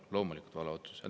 Loomulikult vale otsus!